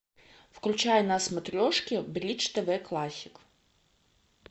включай на смотрешке бридж тв классик